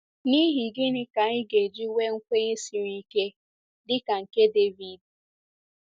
N’ihi gịnị ka anyị ga-eji nwee nkwenye siri ike dị ka nke David?